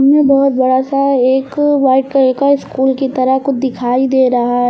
यह बहोत बड़ा सा एक व्हाइट कलर का स्कूल की तरह कुछ दिखाई दे रहा है।